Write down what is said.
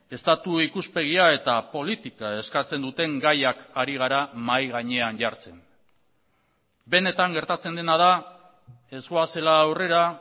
estatu ikuspegia eta politika eskatzen duten gaiak ari gara mahai gainean jartzen benetan gertatzen dena da ez goazela aurrera